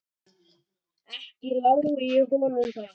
Ekki lái ég honum það.